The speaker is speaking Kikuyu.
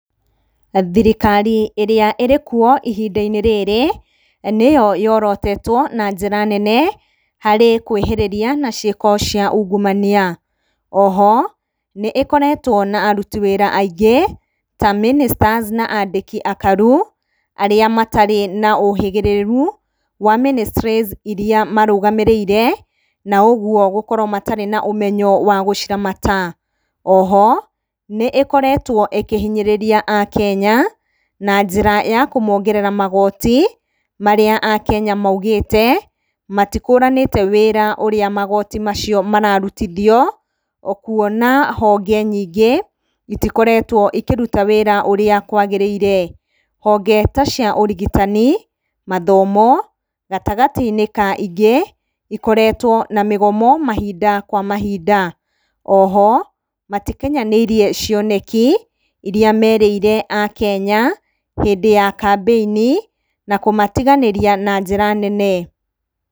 Thirikari ĩrĩa ĩrĩkwo ihinda-inĩ rĩrĩ, nĩyo yorotetwo na njĩra nene harĩ kwĩhĩrĩria na ciĩko cia ungumania. Oho, nĩ ĩkoretwo na aruti wĩra aingĩ ta Ministers na aandĩkĩ akaru, arĩa matarĩ na ũhĩgĩrĩru wa ministries iria marũgamĩrĩire na ũguo gũkorwo matarĩ na ũmenyo wa gũciramata. Oho, nĩ ĩkoretwo ĩkĩhinyĩrĩria Akenya na njĩra ya kũmongerera magooti marĩa Akenya maugĩte matikũranĩte wĩra ũrĩa magooti macio mararutithio, o kwona honge nyingĩ itikoretwo ikĩruta wĩra ũrĩa kwagĩrĩire. Honge ta cia ũrigitani, mathomo, gatagatĩ-inĩ ka ingĩ, ikoretwo na mĩgomo mahinda kwa mahinda. Oho, matikinyanĩirie cioneki iria merĩire Akenya hĩndĩ ya kambĩini, na kũmatiganĩria na njĩra nene.